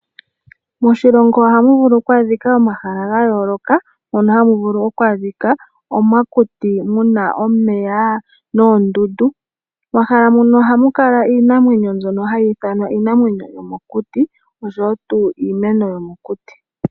Moshilongo ohamu vulu oku adhika omahala ga yooloka mono hamu vulu oku adhika omakuti muna omeya noondundu momahala muka ohamu kala iinamwenyo mbyono hayi ithanwa iinamwenyo yo mokuti oshowo tu iimeno yo mokuti.